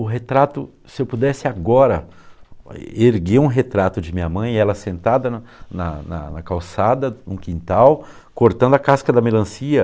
O retrato, se eu pudesse agora, erguer um retrato de minha mãe, ela sentada na na na na calçada, no quintal, cortando a casca da melancia.